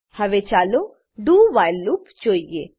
હવે ચાલો do while loop જોઈએ